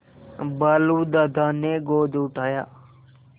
भालू दादा ने गोद उठाया